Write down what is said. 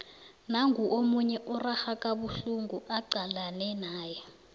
nangu omunye urarha kabuhlungu acalane naye